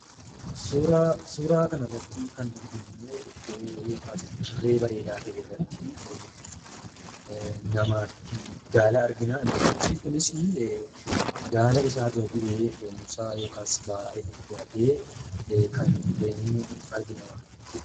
Suura kana irratti kan arginu immoo iddoo yookaan dirree bareedaa ta'e irraatti namootaa fi gaala argina. Namichi gaala dura bu'ee fe'isa itti fe'atee kan deemu argina jechuudha.